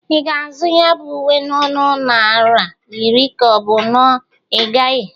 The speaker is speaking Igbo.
Ị ga-azụ ya bụ uwe na nnụ naịra iri ka ọ bụ na ị gaghị?